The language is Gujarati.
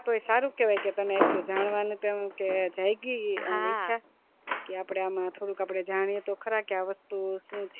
તોઈ સારું કેવાય કે તને એટલું જાણવા નું તેમ કે જાયગી કે આપડે થોડું જાણીએ તો ખરા કે આ વસ્તુ સુ છે